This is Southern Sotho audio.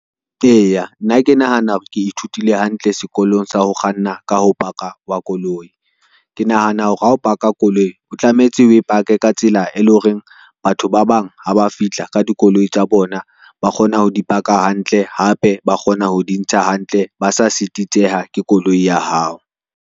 Eya, nna ke nahana hore ke ithutile hantle sekolong sa ho kganna ka ho paka wa koloi. Ke nahana hore ha o paka koloi, o tlametse oe pake ka tsela e lo reng batho ba bang ha ba fihla ka dikoloi tsa bona, ba kgona ho dipaka hantle, hape ba kgona ho dintsha hantle, ba sa sititseha ke koloi ya hao.